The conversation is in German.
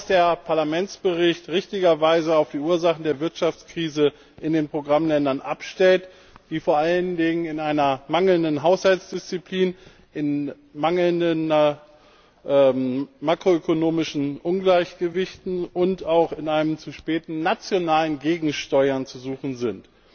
Der Parlamentsbericht stellt richtigerweise auf die Ursachen der Wirtschaftskrise in den Programmländen ab, die vor allen Dingen in einer mangelnden Haushaltsdisziplin, in makroökonomischen Ungleichgewichten und auch in einem zu späten nationalen Gegensteuern zu suchen sind.